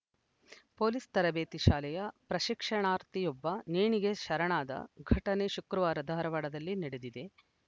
police ತರಬೇತಿ ಶಾಲೆಯ ಪ್ರಶಿಕ್ಷಣಾರ್ಥಿಯೊಬ್ಬ ನೇಣಿಗೆ ಶರಣಾದ ಘಟನೆ ಶುಕ್ರವಾರ ಧಾರವಾಡದಲ್ಲಿ ನಡೆದಿದೆ